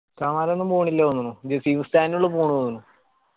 സമദൊന്നും പോണില്ല തോന്നണു ജസീം ഉസ്താദെന്നുള്ളു പോണത് തോന്നുന്നു